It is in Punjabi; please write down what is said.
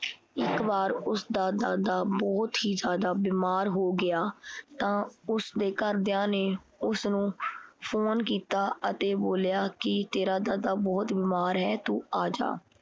ਇੱਕ ਵਾਰ ਉਸਦਾ ਦਾਦਾ ਬਹੁਤ ਹੀ ਜ਼ਿਆਦਾ ਬਿਮਾਰ ਹੋ ਗਿਆ ਤਾਂ ਉਸਦੇ ਘਰਦਿਆਂ ਨੇ ਉਸਨੂੰ ਫੋਨ ਕੀਤਾ ਅਤੇ ਬੋਲਿਆ ਕੀ ਤੇਰਾ ਦਾਦਾ ਬਹੁਤ ਬਿਮਾਰ ਹੈ ਤੂੰ ਆਜਾ।